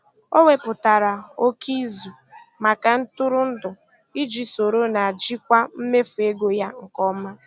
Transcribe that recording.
O wepụtara oke izu maka ntụrụndụ iji soro na jikwaa mmefu ego ya nke ọma.